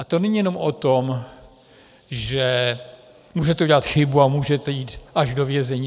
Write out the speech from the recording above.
A to není jenom o tom, že můžete udělat chybu a můžete jít až do vězení.